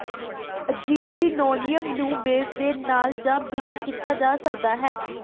ਅਜਿਹੀ ਲਿਨੋਲੀਅਮ ਨੂੰ ਬੇਸ ਦੇ ਨਾਲ ਜਾਂ ਬਿਨਾਂ ਕੀਤਾ ਜਾ ਸਕਦਾ ਹੈ